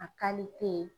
A kalite